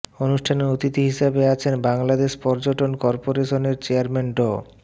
অনুষ্ঠানে অতিথি হিসেবে আছেন বাংলাদেশ পর্যটন করপোরেশনের চেয়ারম্যান ড